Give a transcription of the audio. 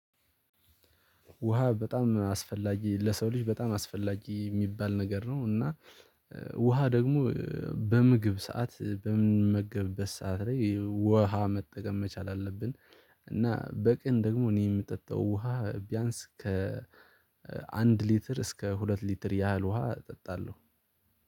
ውሃ በጣም አስፈላጊ ለሰው ልጅ በጣም አስፈላጊ የሚባል ነገር ነው እና ውሃ ደግሞ በምግብ ሰዓት በምንመገበበት ሰዓት ላይ ውሃ መጠቀም መቻል አለብን። እና በቀን ደግሞ እኔ የምጠጣው ውሃ ቢያንስ ከ አንድ ሊትር እስከ ሁለት ሊትር ያህል ውሃ እጠጣለሁ።